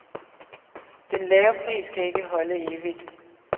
Den lave pris kan ikke holde evigt.